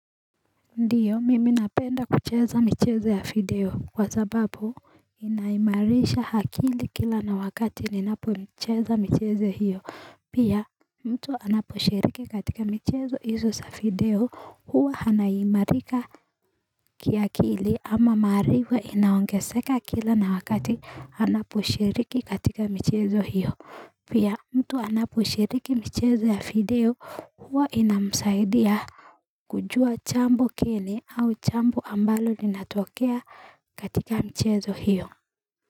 Ndiyo mimi napenda kucheza michezo ya video kwa sababu inaimarisha akili kila na wakati ninapo micheza michezo hiyo pia mtu anaposhiriki katika michezo izo sa video huwa hanaimarika kiakili ama maarifa inaongeseka kila na wakati anaposhiriki katika michezo hiyo pia mtu anaposhiriki michezo ya video huwa inamsaidia kujua chambo geni au chambo ambalo linatokea katika mchezo hiyo.